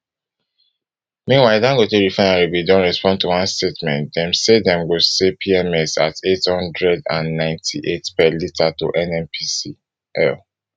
meanwhile dangote refinery bin don respond to one statement dem say dem go say pms at neight hundred and ninety-eight per litre to nnpcl